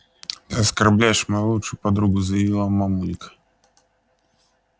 ты оскорбляешь мою лучшую подругу заявила мамулька